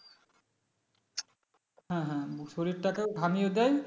হ্যাঁ হ্যাঁ শরীরটাকেও ঘামিয়ে দেয়